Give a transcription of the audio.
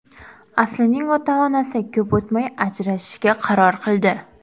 Aslining ota-onasi ko‘p o‘tmay ajrashishga qaror qildi.